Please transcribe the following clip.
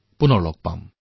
পুনৰ লগ পাম